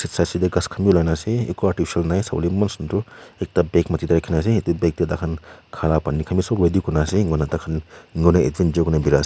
khas khan bi ulai kena ase eku artificial nai sawole eman sunder ekta bag mati te rakhina ase yate bag te taikhan kha la Pani khan bi sob ready kurina ase eneka hoina taikhan ase.